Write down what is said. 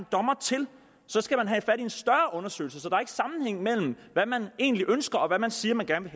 dommer til så skal man have gang i en større undersøgelse så sammenhæng mellem hvad man egentlig ønsker og hvad man siger man gerne